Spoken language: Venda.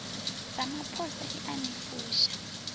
ramaphosa i a ni fusha